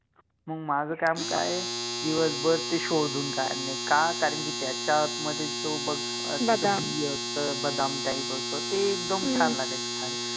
मग माझं काम काय दिवसभर ते शोधुन काढणे का कारण कि त्याच्या आतमधे जो बघ ह्म बदाम जो बि असत बदाम टाइप असत ह्म्म ते एकदम छान लागायच खायला